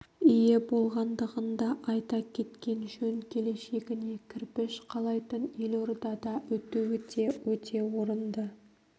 ие болғандығын да айта кеткен жөн келешегіне кірпіш қалайтын елордада өтуі өте орынды